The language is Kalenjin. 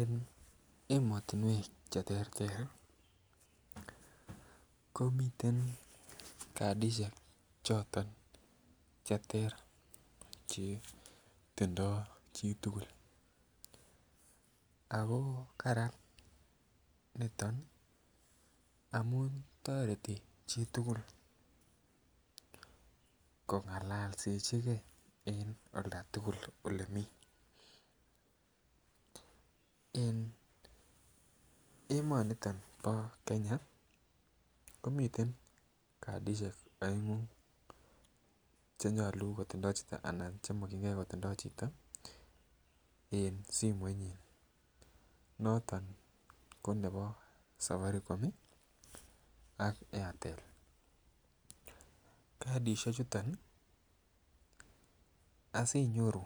En emotunwek cheterter komiten katishek choton cheter chetindo chitukul ako karan niton amun toreti chitukul kongololsechigee en olda tukuk ole mii. En emoniton bo Kenya komiten katishek oengu chenyolu kotindoi chito ana chemokinigee kotindo chito en simoit nyin noto ko nebo safaricom ak Airtel. Kasishek chuton asinyoru